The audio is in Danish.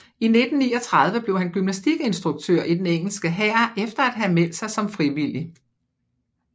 I 1939 blev han gymnastikinstruktør i den engelske hær efter at have meldt sig som frivillig